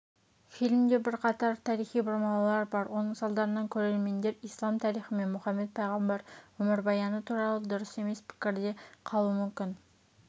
фильмде бірқатар тарихи бұрмалаулар бар оның салдарынан көрермендер ислам тарихы мен мұхаммед пайғамбар өмірбаяны туралы дұрыс емес пікірде қалуы мүмкін